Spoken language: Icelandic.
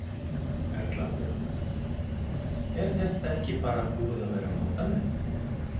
Erla Björg: Er þetta ekki bara búið að vera notalegt?